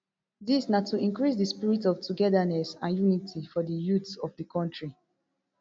dis na to increase di spirit of togetherness and unity for di youths of di kontri